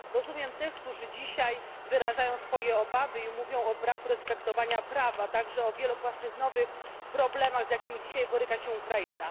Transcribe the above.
Rozumiem tych, którzy dzisiaj wyrażają swoje obawy i mówią o braku respektowania praw, a także o wielopłaszczyznowych problemach, z jakimi dzisiaj boryka się Ukraina.